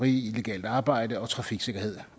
illegalt arbejde og trafiksikkerhed